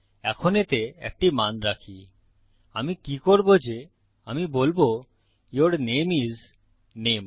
এখন এতে একটি মান রাখি আমি কি করবো যে আমি বলবো ইউর নামে আইএস নামে